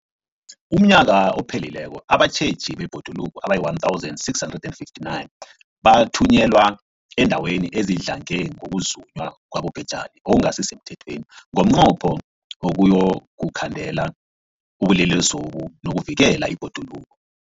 UmNnyaka ophelileko abatjheji bebhoduluko abayi-1 659 bathunyelwa eendaweni ezidlange ngokuzunywa kwabobhejani okungasi semthethweni ngomnqopho wokuyokukhandela ubulelesobu nokuvikela ibhoduluko.